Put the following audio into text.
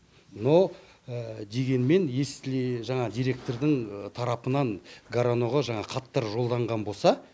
но дегенмен если жаңағы директордың тарапынан гороноға жаңағы хаттар жолданған болса